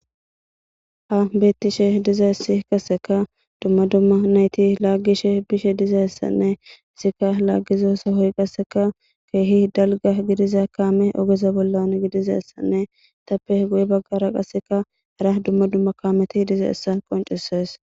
Han betishshe dizaysi qaseka duma duma nayti lagishe bishe dizayisianne qase lagiza sohoy qase kehi dalgga gidiza kammey oggeza bollan gidizaysanne etappe guye bagara qaseka hara kammeti dizaysa qonccises.